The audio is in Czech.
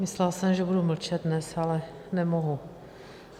Myslela jsem, že budu dnes mlčet, ale nemohu.